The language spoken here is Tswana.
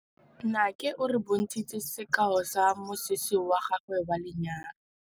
Nnake o re bontshitse sekaô sa mosese wa gagwe wa lenyalo.